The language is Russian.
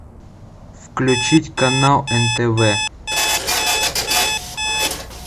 включить канал нтв